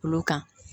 Olu kan